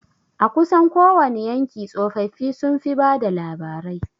A kusan kowani yanki tsofaffi sun fi bada labarai